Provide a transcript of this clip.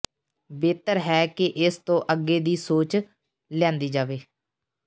ਬਿਹਤਰ ਹੈ ਕਿ ਇਸ ਤੋਂ ਅੱਗੇ ਦੀ ਸੋਚ ਲਿਆਂਦੀ ਜਾਵੇ